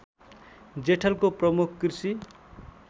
जेठलको प्रमुख कृषि